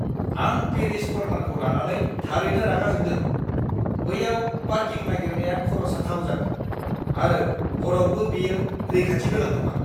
आं पेरिस कर्नारखौ लानानै थारैनो रागा जोंदों। बैयाव पार्किं नागिरनाया खर' साथाव जागोन, आरो हरावबो बेयो रैखाथि गोनां नङा!